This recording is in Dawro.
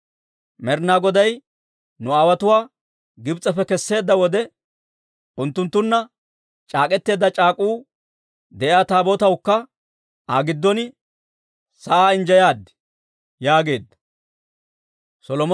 Med'inaa Goday nu aawotuwaa Gibs'eppe kesseedda wode unttunttunna c'aak'k'eteedda c'aak'uu de'iyaa Taabootawukka Aa giddon sa'aa injjeyaad» yaageedda.